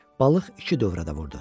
Balıq iki dövrə də vurdu.